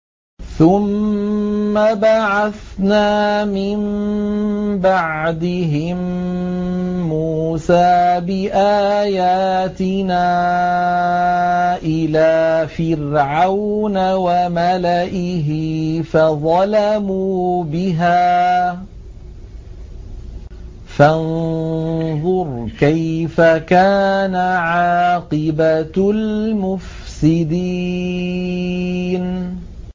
ثُمَّ بَعَثْنَا مِن بَعْدِهِم مُّوسَىٰ بِآيَاتِنَا إِلَىٰ فِرْعَوْنَ وَمَلَئِهِ فَظَلَمُوا بِهَا ۖ فَانظُرْ كَيْفَ كَانَ عَاقِبَةُ الْمُفْسِدِينَ